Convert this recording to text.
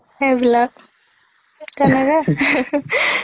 সেইবিলাক তেনেকে